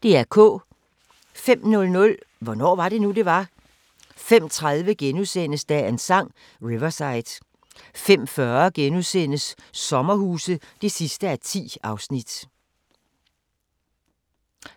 05:00: Hvornår var det nu, det var? 05:30: Dagens Sang: Riverside * 05:40: Sommerhuse (10:10)*